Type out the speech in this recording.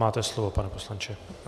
Máte slovo, pane poslanče.